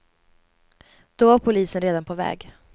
Då var polisen redan på väg.